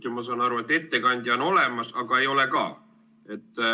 Ma saan aru, et ettekandja on olemas, aga ei ole ka.